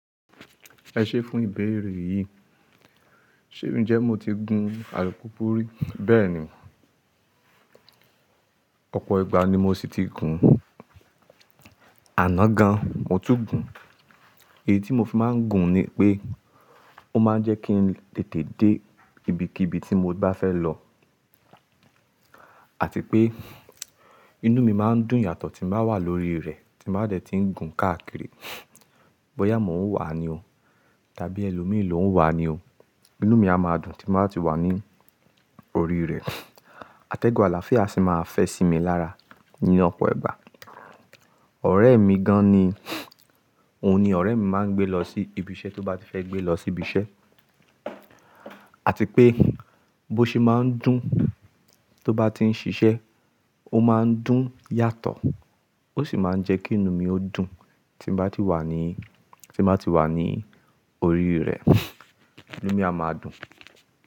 Ẹ ṣé fún ìbéèrè yìí. Ṣé ríi jẹ́ mo ti gun alùpùpù rí? Bẹ́ẹ̀ni, ọ̀pọ̀ ìgbà ni mo ṣì ti gun. Àná gan, mo tún gùn. Èyí tí mo fi máa ń gun ni pé ó máa ń jẹ́ kí n tètè dé ibikíbi tí mo bá fẹ́ lọ àti pé inú mi máa ń dùn yàtọ̀ tí bàá wà lórí rẹ̀ tí bàá dẹ̀ ti ń gun káàkiri. Bóyá mò ń wà ní o tàbí ẹlòmíràn ló ń wà ní o, inú mi a máa dùn tí bàá ti wà ní orí rẹ̀. Atẹ́gùn àlàáfíà sì máa fẹ́ sí mi lára ní ọ̀pọ̀ ìgbà. Ọ̀rẹ́ mi gan ni, òun ni ọ̀rẹ́ mi máa ń gbé lọ sí ibiṣẹ́ tó bá ti fẹ́ gbé lọ sí ibiṣẹ́ àti pé bó ṣe máa ń dùn tó bá ti ń ṣiṣẹ́, ó máa ń dùn yàtọ̀ ó sì máa ń jẹ́ kí inú mi ó dùn tí bá ti wà ní, tí màá ti wà ní orí rẹ̀, inú mi a máa dùn.